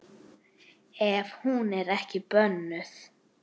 Ef hún er ekki bönnuð.